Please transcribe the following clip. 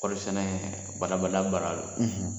Kɔɔri sɛnɛ bada-bada baara don.